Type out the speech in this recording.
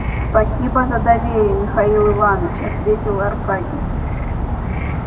спасибо за доверие михаил иванович ответил аркадий